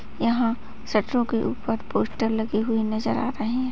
यहां शूटरों के ऊपर पोस्टर लगे हुए नजर आ रहे है।